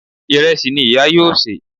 Ìrẹsì ni ìyá yóò sè